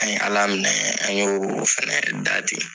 An ye Ala minɛ, an y'o o fɛnɛɛ da ten.